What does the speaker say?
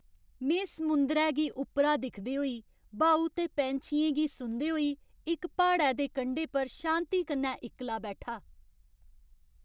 में समुंदरै गी उप्परा दिखदे होई ब्हाऊ ते पैंछियें गी सुनदे होई इक प्हाड़ै दे कंढे पर शांति कन्नै इक्कला बैठा।